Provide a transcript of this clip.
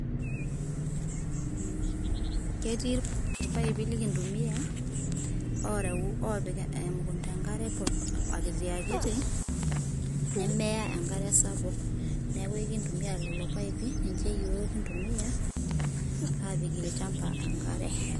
Ketii ilpaipi lekintumia oreu opik emukunta enkare akitiakiti nemeya enkare sapuk, neaku ekintumia lelo paipi ninche iyiook kintumia apik elchamba enkare.